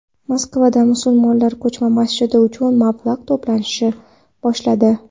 Moskvada musulmonlar ko‘chma masjid uchun mablag‘ to‘plashni boshladi.